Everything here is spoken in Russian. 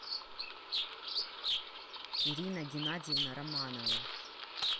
ирина геннадьевна романова